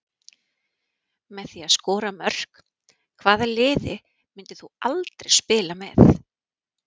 Með því að skora mörk Hvaða liði myndir þú aldrei spila með?